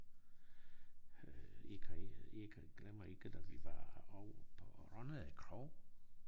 Øh ikke ikke glemmer ikke da vi var ovre på Rønne Kro